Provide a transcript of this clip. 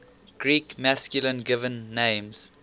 greek masculine given names